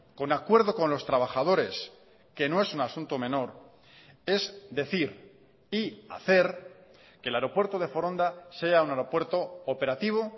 con acuerdo con los trabajadores que no es un asunto menor es decir y hacer que el aeropuerto de foronda sea un aeropuerto operativo